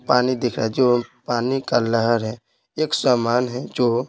पानी दिख रहा है जो पानी का लहर है एक सामान है जो --